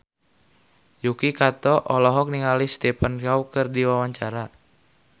Yuki Kato olohok ningali Stephen Chow keur diwawancara